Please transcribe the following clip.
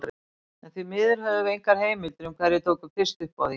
En því miður höfum við engar heimildir um hverjir tóku fyrst upp á því.